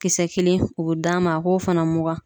Kisɛ kelen o be d'a ma a k'o fana mugan.